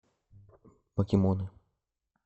покемоны